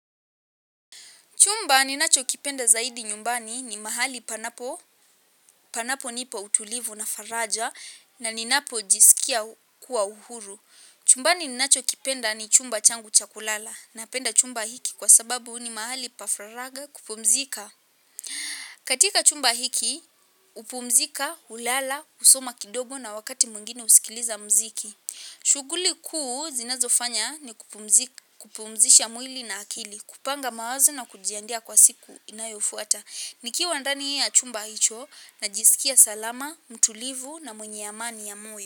Chumba ninacho kipenda zaidi nyumbani ni mahali panapo, panapo nipa utulivu na faraja na ninapo jisikia kuwa uhuru. Chumbani ninacho kipenda ni chumba changu cha kulala napenda chumba hiki kwa sababu ni mahali pa faragha kupumzika. Katika chumba hiki, hupumzika, hulala, husoma kidogo na wakati mwingine husikiliza mziki. Shughuli kuu zinazofanya ni kupumzisha mwili na akili, kupanga mawazo na kujiandaa kwa siku inayofuata nikiwa ndani ya chumba hicho najisikia salama, mtulivu na mwenye amani ya moyo.